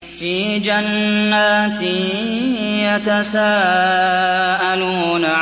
فِي جَنَّاتٍ يَتَسَاءَلُونَ